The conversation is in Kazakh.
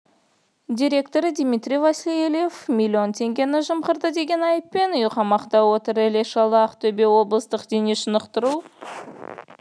директоры дмитрий васильев миллион теңгені жымқырды деген айыппен үйқамақта отыр іле-шала ақтөбе облыстық дене шынықтыру